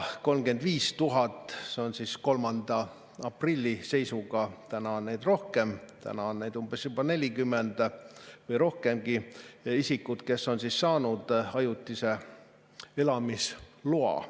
35 000 isikut 3. aprilli seisuga – nüüd on neid rohkem, nüüd on neid juba umbes 40 000 või rohkem – oli saanud ajutise elamisloa.